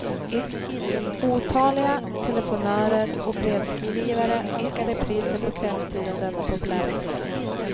Otaliga telefonörer och brevskrivare önskar repriser på kvällstid av denna populära serie.